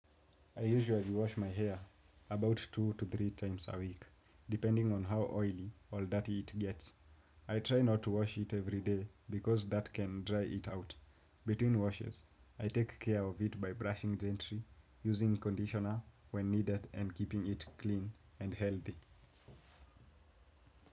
I usually wash my hair about two to three times a week, depending on how oily or dirty it gets. I try not to wash it every day because that can dry it out. Between washes, I take care of it by brushing gently, using conditioner when needed and keeping it clean and healthy.